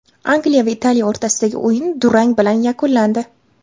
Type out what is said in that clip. Angliya va Italiya o‘rtasidagi o‘yin durang bilan yakunlandi.